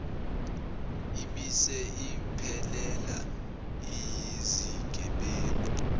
ibese iphelela iyizigebengu